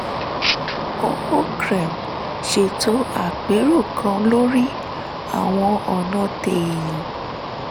ó ṣètò àpérò kan lórí àwọn ọ̀nà téèyàn